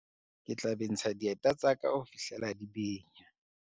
Ke tla bentsha dieta tsa ka ho fihlela di benya.